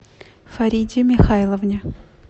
фариде михайловне